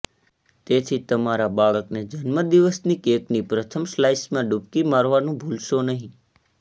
તેથી તમારા બાળકને જન્મદિવસની કેકની પ્રથમ સ્લાઇસમાં ડૂબકી મારવાનું ભૂલશો નહીં